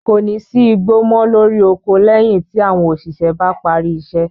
Kò ní sí igbó mọ́ lórí oko lẹ́yìn tí àwọn òṣìṣẹ́ bá parí iṣẹ́.